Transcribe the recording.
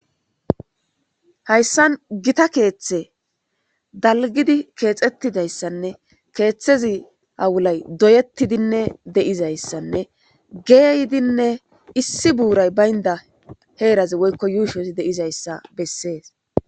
Haysan gita kethe dalgid kexetidaysanne kethazi awulay doyetidinne de'izaysanne geydinne issi buray baynda herazi woyko yushos de'izaysa beses.